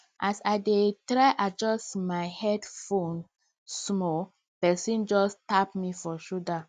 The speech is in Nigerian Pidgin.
as i try adjust my headphones small person just tap me for shoulder